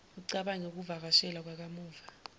ucabange ukuvakashela kwakamuva